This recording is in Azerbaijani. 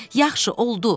Yaxşı, oldu,